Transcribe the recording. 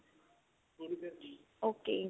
okay